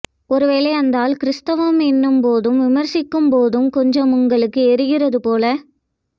ஒருவேளை அந்தாள் கிறிஸ்த்தவம் எனும் போதும் விமர்சிக்கும் போது கொஞ்சம் உங்களுக்கு எரிகிறது போல